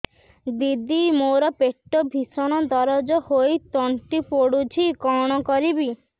ଦିଦି ମୋର ପେଟ ଭୀଷଣ ଦରଜ ହୋଇ ତଣ୍ଟି ପୋଡୁଛି କଣ କରିବି